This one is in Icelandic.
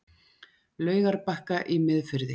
Laugarbakka í Miðfirði.